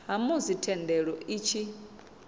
ha musi thendelo i tshi